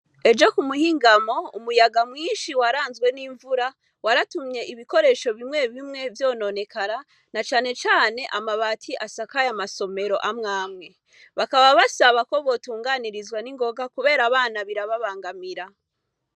Ejo ku muhingamo, umuyaga mwinshi waranzwe n'imvura, waratumye ibikoresho bimwe bimwe vyononekara na cane cane amabati asakaye amasomero amwe amwe. Bakaba basaba ko botunganiriza n'ingoga kubera abana birababangamira.